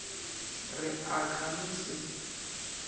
re a ka no se